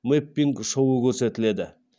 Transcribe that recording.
мэппинг шоуы көрсетіледі